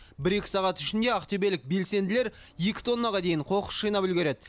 бір екі сағат ішінде ақтөбелік белсенділер екі тоннаға дейін қоқыс жинап үлгереді